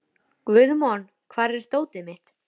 En þeirra sakna ég æ meir sem árin líða.